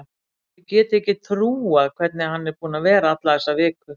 Þið getið ekki trúað hvernig hann er búinn að vera alla þessa viku.